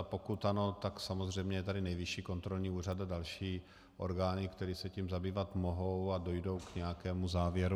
A pokud ano, tak samozřejmě je tady Nejvyšší kontrolní úřad a další orgány, které se tím zabývat mohou a dojdou k nějakému závěru.